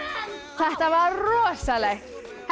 þetta var rosalegt